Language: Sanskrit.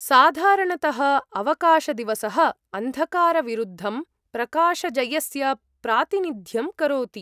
साधारणतः, अवकाशदिवसः अन्धकारविरुद्धं प्रकाशजयस्य प्रातिनिध्यं करोति।